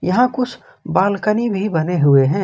यहां कुछ बालकनी भी बने हुए हैं।